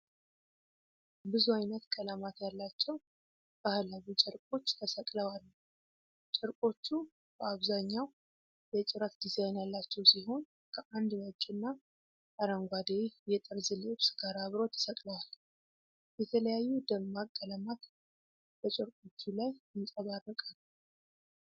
ብዙ ዓይነት ቀለማት ያላቸው ባህላዊ ጨርቆች ተሰቅለው አሉ። ጨርቆቹ በአብዛኛው የጭረት ዲዛይን ያላቸው ሲሆን፣ ከአንድ ነጭና አረንጓዴ የጠርዝ ልብስ ጋር አብረው ተሰቅለዋል። የተለያዩ ደማቅ ቀለማት በጨርቆቹ ላይ ይንጸባረቃሉ።